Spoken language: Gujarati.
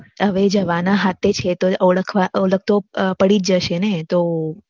હવે જવાના હાથે છીએ તો ઓળખ તો પડી જ જશેને તો